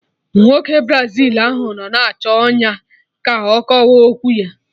Nwoke Brazil ahụ nọ na-achọ ọnyá ga akọwa okwu ya